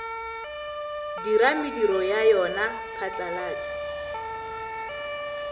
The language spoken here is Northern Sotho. dira mediro ya yona phatlalatša